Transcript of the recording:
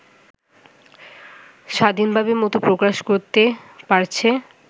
স্বাধীনভাবে মত প্রকাশ করতে পারছে